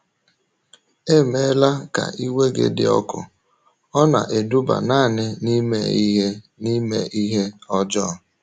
“ Emela ka iwe gị dị ọkụ, ọ na - eduba nanị n’ime ihe n’ime ihe ọjọọ.